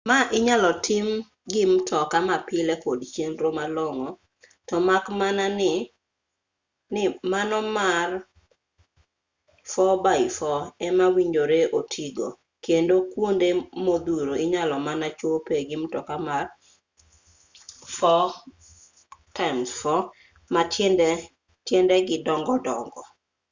ma inyalo tim gi mtoka ma pile kod chenro malong'o to mak mana ni mano mar 4 x 4 ema owinjore oti go kendo kuonde modhuro inyalo mana chope gi mtoka mar 4x4 ma tiendege dongo dongo